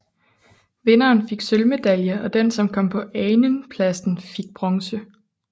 Vinderen fik sølvmedalje og den som kom på anenpladsen fik bronze